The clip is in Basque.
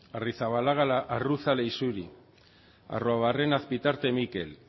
arrizabalaga arruza leixuri arruabarrena azpitarte mikel